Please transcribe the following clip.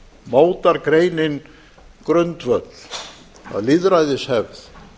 mótar greinin grundvöll að lýðræðishefð